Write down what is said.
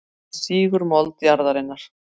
Hún sýgur mold jarðarinnar.